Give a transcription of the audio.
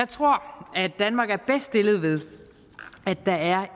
tror at danmark er bedst stillet ved at der er